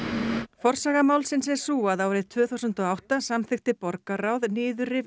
forsaga málsins er sú að árið tvö þúsund og átta samþykkti borgarráð niðurrif